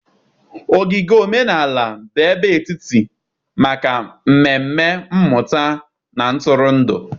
Ogige Omenala bụ ebe etiti maka mmemme mmụta na ntụrụndụ.